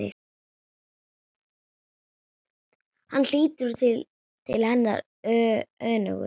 Hann lítur til hennar önugur.